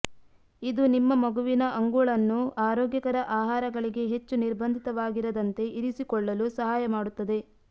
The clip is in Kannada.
ಇದು ನಿಮ್ಮ ಮಗುವಿನ ಅಂಗುಳನ್ನು ಆರೋಗ್ಯಕರ ಆಹಾರಗಳಿಗೆ ಹೆಚ್ಚು ನಿರ್ಬಂಧಿತವಾಗಿರದಂತೆ ಇರಿಸಿಕೊಳ್ಳಲು ಸಹಾಯ ಮಾಡುತ್ತದೆ